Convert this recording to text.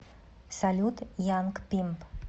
салют янг пимп